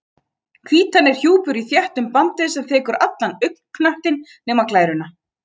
Hvítan er hjúpur úr þéttum bandvef sem þekur allan augnknöttinn nema glæruna.